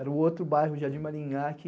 Era o outro bairro, Jardim Maringá, que...